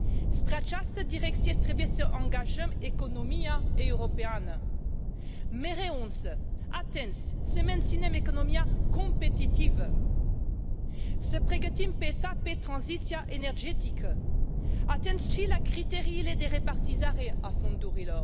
Spre această direcție trebuie să angajăm economia europeană, mereu însă atenți să menținem economia competitivă, să pregătim pe etape tranziția energetică, atenți și la criteriile de repartizare a fondurilor.